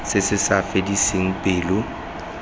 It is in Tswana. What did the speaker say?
se se sa fediseng pelo